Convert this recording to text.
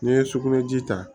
N'i ye sugunɛji ta